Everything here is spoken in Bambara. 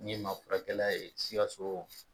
N ye maafurakɛkɛla ye SIKASO.